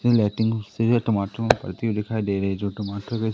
ये लाइटिंग घुसे हुए टमाटर मे भरती हुई दिखाई दे रही है जो टमाटर बेच--